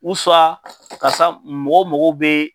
karisa, mɔgɔw mago bɛ....